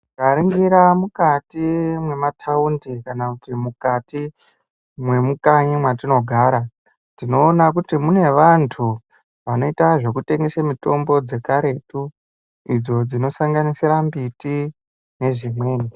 Tikaringira mukati mwema taundi kana mukati mwemukanyi mwetinogara tinoona kuti mune vantu vanoita zvekutengesa mitombo dzekaretu idzo dzinosanganisira mbiti nedzimweni.